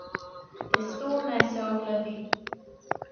Testo naj se ohladi.